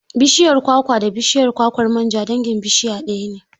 Bashiyar kwakwa da bishiyar kwakwar manja dangin bishiya ɗaya ne.